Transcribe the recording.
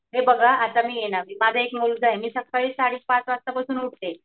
आता हे बघा मी ये ना माझा एक मुलगा आहे मी सकाळी साडे पाच वाजता पासून उठते.